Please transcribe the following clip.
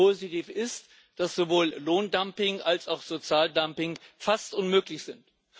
Positiv ist, dass sowohl Lohndumping als auch Sozialdumping fast unmöglich sind.